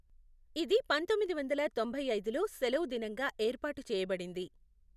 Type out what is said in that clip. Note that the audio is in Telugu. ఇది పంతొమ్మిది వందల తొంభై ఐదులో సెలవు దినంగా ఏర్పాటు చేయబడింది.